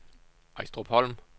Ejstrupholm